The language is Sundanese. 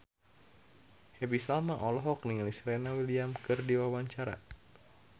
Happy Salma olohok ningali Serena Williams keur diwawancara